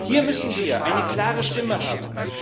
Hier müssen wir eine klare Stimme haben.